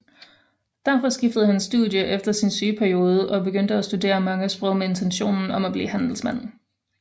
Derfor skiftede han studie efter sin sygeperiode og begyndte at studere mange sprog med intentionen om at blive handelsmand